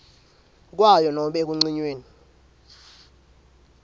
kwayo nobe ekucinyweni